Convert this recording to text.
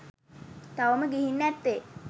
තවම ගිගින් නැත්තේ.